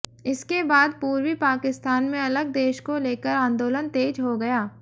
इसके बाद पूर्वी पाकिस्तान में अलग देश को लेकर आंदोलन तेज हो गया